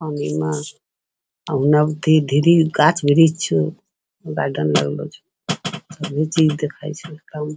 के घिरी गाछ वृक्ष छो चीज दिखा छो ।